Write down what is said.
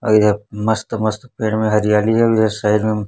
और इधर मस्त मस्त पेड़ में हरियाली है और इधर साइड में --